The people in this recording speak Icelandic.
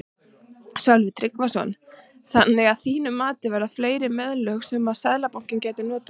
Sölvi Tryggvason: Þannig að þín mati eru fleiri meðöl sem að Seðlabankinn gæti notað?